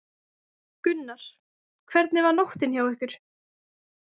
Gunnar: Hvernig var nóttin hjá ykkur?